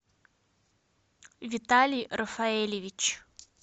виталий рафаэльевич